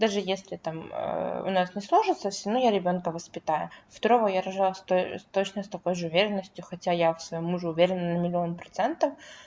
даже если там у нас не сложится всё равно я ребёнка воспитаю второго я рожаю с той с точно с такой же уверенностью хотя я в своём муже уверена на миллион процентов